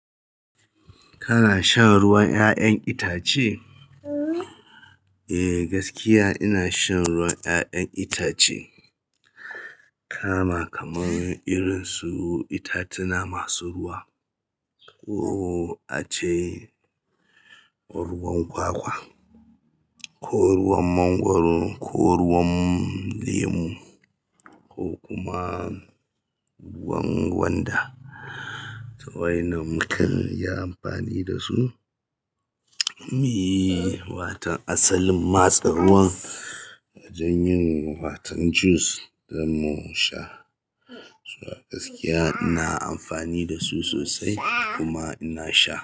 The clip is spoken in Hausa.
Kana shan ruwan 'ya'yan itace? Eh, gaskiya ina shan ruwan 'ya'yan itace. Kama kamar irin su ita tuna masu ruwa ko ace ko ruwan kwakwa, ko ruwan mangwaro, ko ruwan lemu ko kuma ruwan gwanda. Wa'yannan makanyi amfani dasu, mi watan asalin maste ruwan don yin watan jus zamu sha. To a gaskiya ina amfani dasu sosai kuma ina sha.